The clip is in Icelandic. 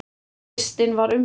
Listinn var umdeildur.